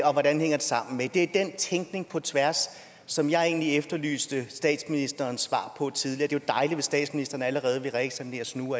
og hvordan hænger det sammen med det er den tænkning på tværs som jeg egentlig efterlyste statsministerens svar på tidligere det er jo dejligt hvis statsministeren allerede vil reeksamineres nu